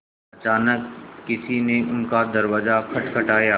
अचानक किसी ने उनका दरवाज़ा खटखटाया